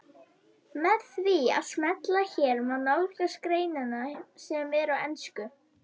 Með því að smella hér má nálgast greinina sem er á ensku.